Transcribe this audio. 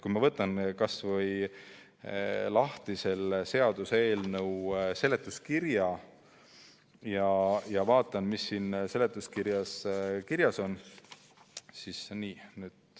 Ma võtan kas või lahti selle seaduseelnõu seletuskirja ja vaatan, mis siin kirjas on.